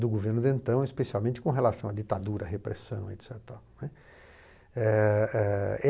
do governo de então, especialmente com relação à ditadura, à repressão, et cetera e tal, né. Eh eh